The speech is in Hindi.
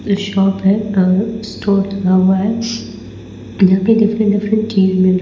--शॉप है अ स्टोर लिखा हुआ है यहाँ पे डिफरेंट डिफरेंट चीज़ मिल--